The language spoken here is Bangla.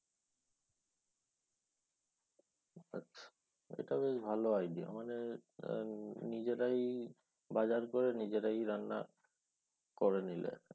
এটা বেশ ভালো idea মানে নিজেরাই বাজার করে নিজেরাই রান্না করে নিলে।